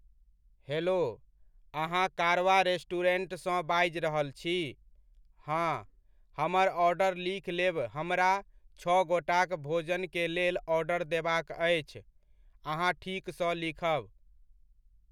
Hello, अहाँ Karwan restaurant सँ बाजि रहल छी? हाँ, हमर ऑर्डर लिख लेब, हमरा छओ गोटाक भोजनकेलेल आर्डर देबाक अछि, अहाँ ठीक सँ लिखब।